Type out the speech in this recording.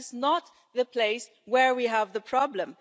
That is not the place where we have the problem.